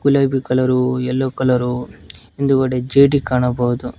ಲೈ blue colour yellow colour ಇಂದುಗಡೆ ಕಾಣಬಹುದು.